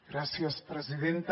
gràcies presidenta